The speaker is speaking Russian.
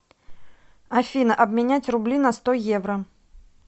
афина обменять рубли на сто евро